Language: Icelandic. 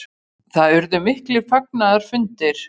Það urðu miklir fagnaðarfundir.